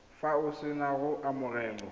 fa o sena go amogela